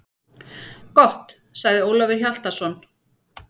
Gott, sagði Ólafur Hjaltason.